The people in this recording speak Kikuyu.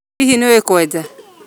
Hihi nĩ ũĩ kwenja?